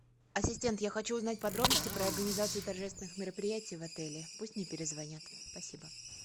ассистент я хочу узнать подробности про организацию торжественных мероприятий в отеле пусть мне перезвонят спасибо